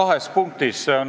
kaheks punktiks.